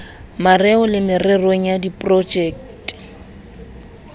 mareo le mererong ya diprojekte